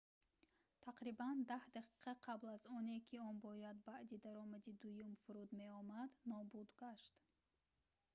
тақрибан даҳ дақиқа қабл аз оне ки он бояд баъди даромади дуюм фуруд меомад нобуд гашт